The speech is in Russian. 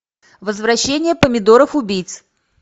возвращение помидоров убийц